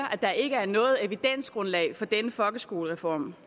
at der ikke er noget evidensgrundlag for denne folkeskolereform